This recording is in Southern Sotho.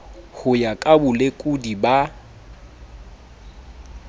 ho ya ka bolekodi ba